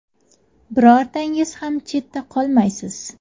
Birortangiz ham chetda qolmaysiz.